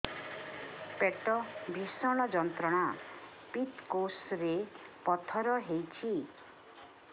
ପେଟ ଭୀଷଣ ଯନ୍ତ୍ରଣା ପିତକୋଷ ରେ ପଥର ହେଇଚି